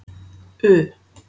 U